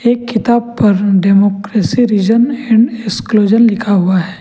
किताब पर democracy reason and exclusion लिखा हुआ है।